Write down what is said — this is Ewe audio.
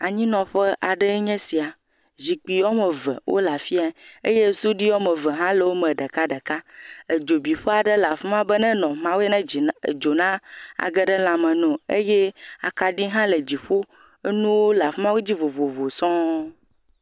Anyinɔƒe aɖee nye esia zikpui woame eve wole afi ya eye suɖui woame eve wole eme ɖekaɖeka, edzibiƒe aɖe le afi ma be nenɔ mawe edzi..edzo nage ɖe lãme na wo eye akaɖiwo le dziƒo, enuwo le afi ma wodzi vovovo sɔŋ.